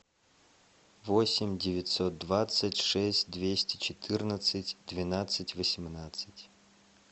восемь девятьсот двадцать шесть двести четырнадцать двенадцать восемнадцать